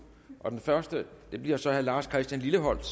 og den første bliver så herre lars christian lilleholt